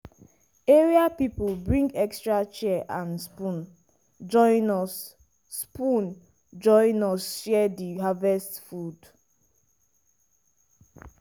area people bring extra chair and spoon join us spoon join us share di harvest food.